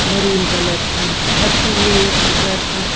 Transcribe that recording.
Maroon colour की छत हुई है इस घर की।